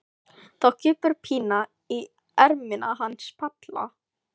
Þá kippir Pína í ermina hans Palla.